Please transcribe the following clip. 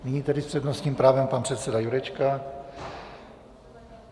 Nyní tedy s přednostním právem pan předseda Jurečka.